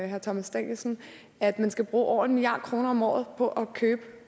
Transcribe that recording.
herre thomas danielsen at man skal bruge over en milliard kroner om året på at købe